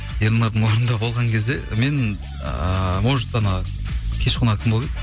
ернардың орнында болған кезде мен ыыы может анау кеш қонағы кім болып еді